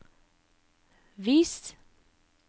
vis